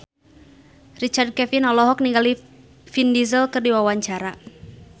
Richard Kevin olohok ningali Vin Diesel keur diwawancara